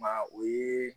Maa o ye